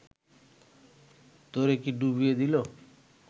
তোরে কি ডুবিয়ে দিলো